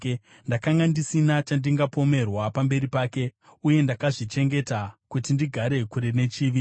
Ndakanga ndisina chandingapomerwa pamberi pake, uye ndakazvichengeta kuti ndigare kure nechivi.